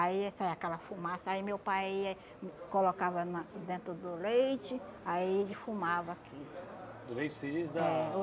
Aí saía aquela fumaça, aí meu pai ia, hum colocava na dentro do leite, aí defumava aquilo. Do leite você diz da